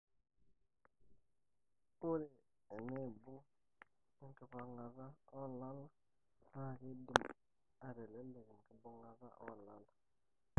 ore enaibung enkipangata olala na kidim ateleleka enkibungata olala